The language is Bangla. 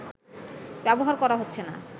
ব্যবহার করা হচ্ছে না